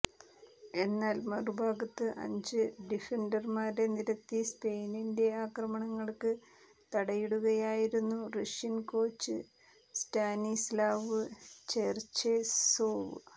എന്നാൽ മറുഭാഗത്ത് അഞ്ച് ഡിഫന്റർമാരെ നിരത്തി സ്പെയിന്റെ ആക്രമണങ്ങൾക്ക് തടയിടുകയായിരുന്നു റഷ്യൻ കോച്ച് സ്റ്റാനിസ്ലാവ് ചെർചേസോവ്